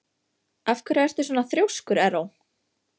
Af hverju ertu svona þrjóskur, Erró?